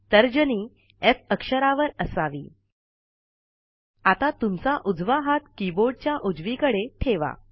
तर्जनी एफ अक्षरावर असावी आता तुमचा उजवा हात कीबोर्डच्या उजवीकडे ठेवा